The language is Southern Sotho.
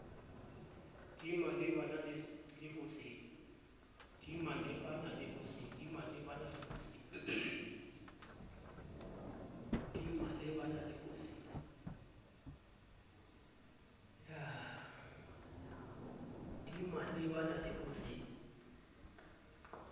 di malebana le ho se